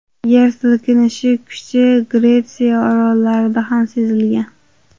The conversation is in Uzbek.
Yer silkinishi kuchi Gretsiya orollarida ham sezilgan.